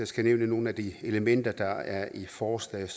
skal nævne nogle af de elementer der er i forslaget